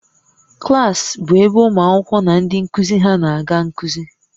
Klas bụ ebe ụmụ akwụkwọ na ndị nkuzi ha na-aga nkuzi